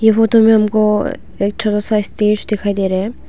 ये फोटो में हमको एक छोटा साइज स्टेज दिखाई दे रहे है।